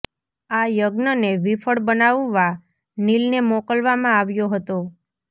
આ યજ્ઞ ને વિફળ બનાવવા નીલને મોકલવામાં આવ્યો હતો